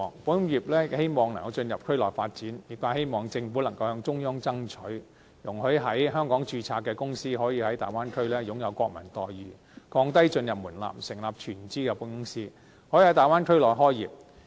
保險業界希望能夠進入區內發展，業界希望政府能夠向中央爭取，容許在香港註冊的公司可以在大灣區擁有國民待遇，降低進入門檻，成立全資的保險公司，可以在大灣區內開業。